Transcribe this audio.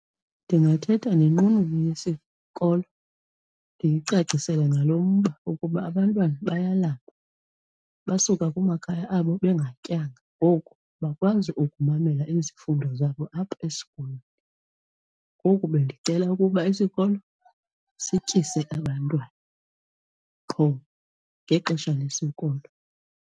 Ndingathetha nenqununu yesikolo ndiyicacisele ngalo mba ukuba abantwana bayalamba, basuka kumakhaya abo bengatyanga ngoku bakwazi ukumamela izifundo zabo apha esikolweni. Ngoku bendicela ukuba isikolo sityise abantwana qho ngexesha lesikolo.